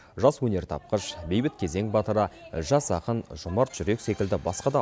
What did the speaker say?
жас өнертапқыш бейбіт кезең батыры жас ақын жомарт жүрек секілді басқа да